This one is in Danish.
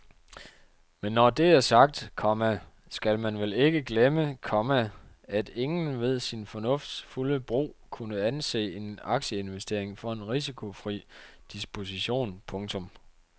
Men når det er sagt, komma skal man vel ikke glemme, komma at ingen ved sin fornufts fulde brug kunne anse en aktieinvestering for en risikofri disposition. punktum